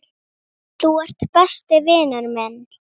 Þú ert besti vinur minn.